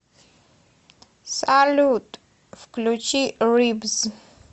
салют включи рибс